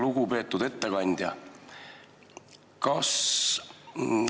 Lugupeetud ettekandja!